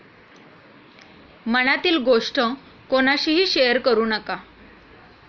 मनातील गोष्ट कोणाशीही शेअर करु नका.